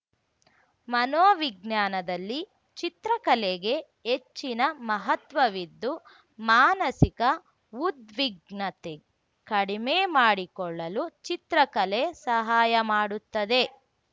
ಮನೋವಿಜ್ಞಾನದಲ್ಲಿ ಚಿತ್ರಕಲೆಗೆ ಹೆಚ್ಚಿನ ಮಹತ್ವವಿದ್ದು ಮಾನಸಿಕ ಉದ್ವಿಗ್ನತೆ ಕಡಿಮೆ ಮಾಡಿಕೊಳ್ಳಲು ಚಿತ್ರಕಲೆ ಸಹಾಯ ಮಾಡುತ್ತದೆ